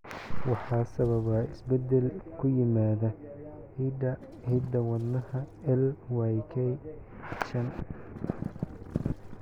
Waxa sababa isbeddel ku yimaadda hidda-wadaha LYK shan.